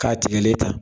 K'a tigɛlen ta